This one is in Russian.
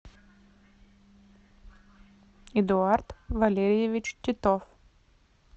эдуард валерьевич титов